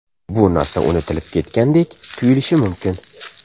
Bu narsa unutilib ketgandek tuyulishi mumkin.